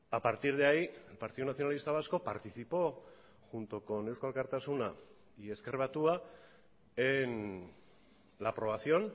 a partir de ahí el partido nacionalista vasco participó junto con eusko alkartasuna y ezker batua en la aprobación